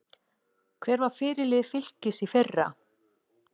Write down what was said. Hver var fyrirliði Fylkis í fyrra?